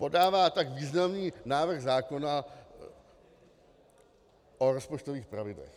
Podává tak významný návrh zákona o rozpočtových pravidlech.